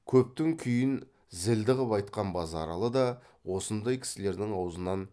көптің күйін зілді қып айтқан базаралы да осындай кісілердің аузынан